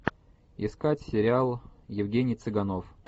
искать сериал евгений цыганов